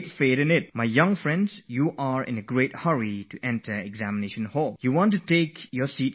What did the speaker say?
My dear young friends, you are in a great hurry to enter the examination hall, you are in a rush to quickly be seated in your place